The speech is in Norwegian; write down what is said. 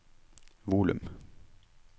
volum